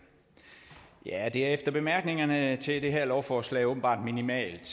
er efter bemærkningerne til det her lovforslag åbenbart minimalt